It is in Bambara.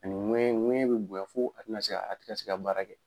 Ani ŋɛ ŋɛɲɛ be bonya fo a tena se ka a te ka baara kɛ